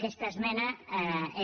aquesta esmena és